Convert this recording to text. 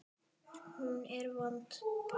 Hún er vond.